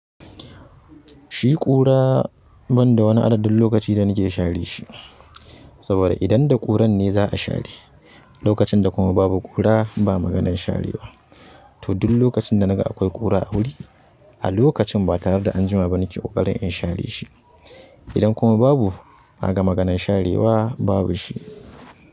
Shi ƙura ban da wani adadin lokaci da nake share shi. Saboda idan da ƙuran ne za a share, lokacin da kuma babu ƙura ba maganan share wa to duk lokacin da naga akwai ƙura a wuri, a lokacin ba tare da an jima ba nake ƙoƙarin in share shi. Idan kuma babu, kaga maganan share wa babu shi.